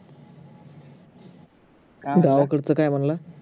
गावाकडच काय म्हणला